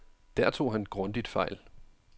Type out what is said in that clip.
Der tog han grundigt fejl.